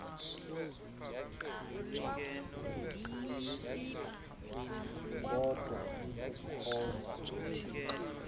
kodwa ikuhkhonza uthixo